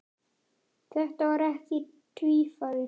Þetta var ekki tvífari